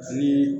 Ni